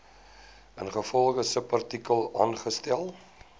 ingevolge subartikel aangestel